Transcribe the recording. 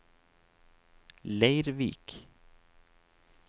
Leirvik